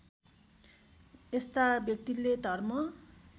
यस्ता व्यक्तिले धर्म